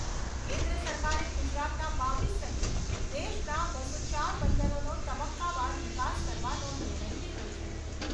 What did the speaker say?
કેન્દ્ર સરકારે ગુજરાતના બાવીસ સહિત દેશના બસો ચાર બંદરોનો તબક્કાવાર વિકાસ કરવાનો નિર્ણય લીધો છે.